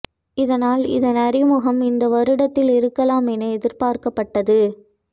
இதனால் இதன் அறிமுகம் இந்த வருடத்தில் இருக்கலாம் என எதிர்பார்க்கப்பட்டது